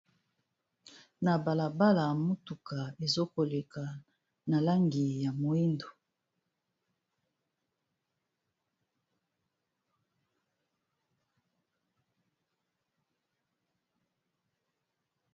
Na balabala motuka ezokoleka na langi ya mwindu .